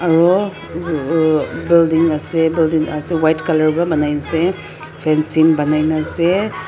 aro uh building ase building ase white color pra manai gina ase fencing banai gina ase.